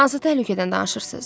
Hansı təhlükədən danışırsız?